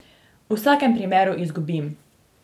V vsakem primeru izgubim.